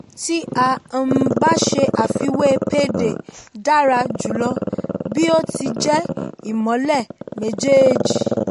tí a um bá ṣe àfiwé payday dára jùlọ bí ó ti jẹ́ ìmọ́lẹ̀ méjèèjì.